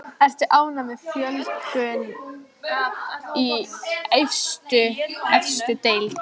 Ertu ánægð með fjölgun í efstu deild?